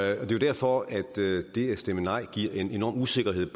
er jo derfor at det at stemme nej giver en enorm usikkerhed